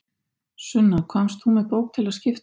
Sunna, komst þú með bók til að skipta?